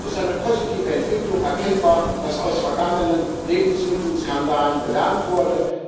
Jedoch ist eine positive Entwicklung erkennbar, dass aus vergangenen Lebensmittelskandalen gelernt wurde.